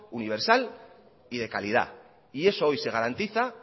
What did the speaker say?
universal y de calidad y eso hoy se garantiza